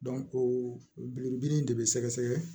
o biriki de bɛ sɛgɛsɛgɛ